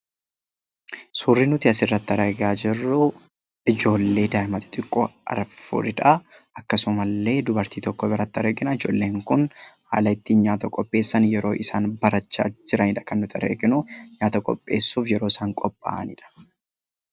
Suuraa kanaa gadii irratti kan argamu ijoollee xixiqqoo dubartii tokko waliin kan dhaabbachaa jiranii dha. Ijoolleen kunis haala ittiin nyaata qopheessan kan barachaa jiranii dha. Kan nuti arginus nyaata qopheessuuf yeroo isaan qopha'aa jiran kan nuti arginuu dha.